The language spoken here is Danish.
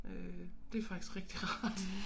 Øh det faktisk rigtig rart